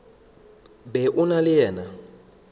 be o na le yena